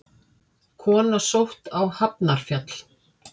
Kona sótt á Hafnarfjall